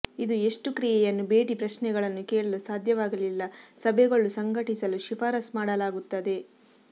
ಇದು ಎಷ್ಟು ಕ್ರಿಯೆಯನ್ನು ಭೇಟಿ ಪ್ರಶ್ನೆಗಳನ್ನು ಕೇಳಲು ಸಾಧ್ಯವಾಗಲಿಲ್ಲ ಸಭೆಗಳು ಸಂಘಟಿಸಲು ಶಿಫಾರಸು ಮಾಡಲಾಗುತ್ತದೆ